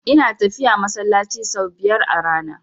Ina tafiya masallaci sau biyar a rana.